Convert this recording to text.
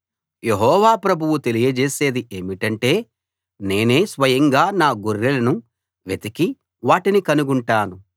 యెహోవా ప్రభువు తెలియజేసేది ఏమిటంటే నేనే స్వయంగా నా గొర్రెలను వెతికి వాటిని కనుగొంటాను